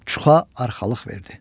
Çuxa arxalıq verdi.